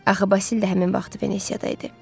Axı Basil də həmin vaxtı Venesiyadayıdı.